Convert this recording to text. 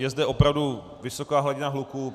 Je zde opravdu vysoká hladina hluku.